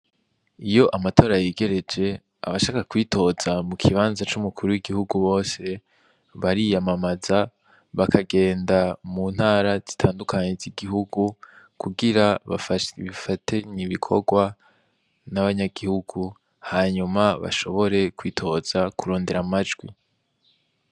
Iyo amatora yegereje abashaka kwitoza mu kibazna c'umukuru w'igihugu bose bariyamamaza bakagenda mu ntara zitandukanye z'igihugu kugira bafatanye ibikorwa n'abanyagihugu hanyuma bashobore kwitoza kurondera amajwi.